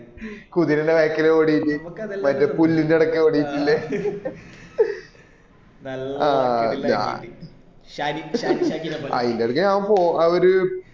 കുതിരെന്റെ back ലെ ഓടിയിട്ട് പുല്ലിന്റെ ഇടക്കെ ഓടിട്ടില്ല ഏർ ആഹ് അയിന്റെ ഇടക്ക് ഞാൻ പോ അവർ